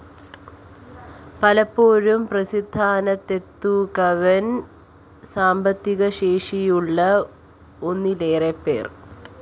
പലപ്പോഴും പ്രതിസ്ഥാനത്തെത്തുക വന്‍ സാമ്പത്തികശേഷിയുള്ള ഒന്നിലേറെപ്പേര്‍